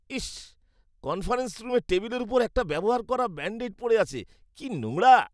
ইস, conference রুমের টেবিলের উপর একটা ব্যবহার করা ব্যান্ড এড পড়ে আছে। কি নোংরা!